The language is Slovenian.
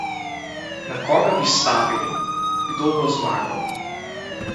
Na koga bi stavili, kdo bo zmagal?